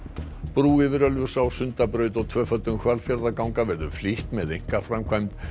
brú yfir Ölfusá Sundabraut og tvöföldun Hvalfjarðarganga verður flýtt með einkaframkvæmd